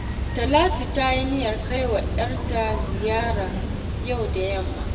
Talatu ta yi niyyar kai wa 'yarta ziyara yau da yamma